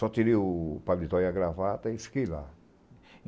Só tirei o palito e a gravata e fiquei lá.